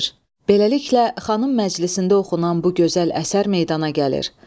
Beləliklə, xanım məclisində oxunan bu gözəl əsər meydana gəlir.